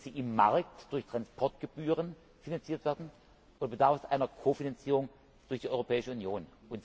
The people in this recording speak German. Können sie im Markt durch Transportgebühren finanziert werden oder bedarf es einer Kofinanzierung durch die Europäische Union?